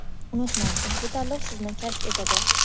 Unutmang, ushbu tanlov sizni kashf etadi.